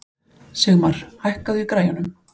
Sigmar, hækkaðu í græjunum.